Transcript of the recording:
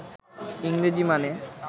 ইংরেজি মানে